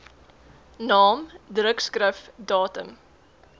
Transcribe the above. naam drukskrif datum